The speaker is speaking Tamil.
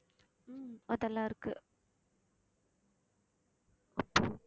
உம் அதெல்லாம் இருக்கு